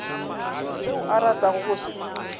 seo a ratago go se